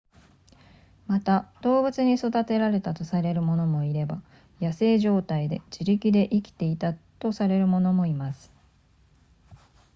また動物に育てられたとされる者もいれば野生状態で自力で生きていたとされる者もいます